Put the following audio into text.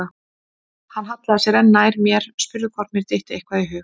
Hann hallaði sér enn nær mér, spurði hvort mér dytti eitthvað í hug.